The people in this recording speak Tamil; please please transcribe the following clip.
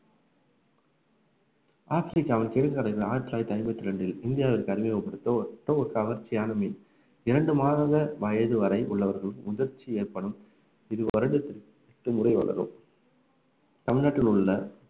ஆயிரத்தி தொள்ளாயிரத்தி ஐம்பத்தி இரண்டில் இந்தியாவிற்கு அறிமுகப்படுத்தப்பட்ட ஒரு கவர்ச்சியான மீன் இரண்டு மாத வயது வரை உள்ளவர்களுக்கு முதிர்ச்சி ஏற்படும் இது வருடத்திற்கு எட்டு முறை வளரும் தமிழ்நாட்டில் உள்ள